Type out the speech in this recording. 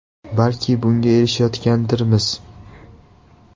Balki bunga erishayotgandirmiz.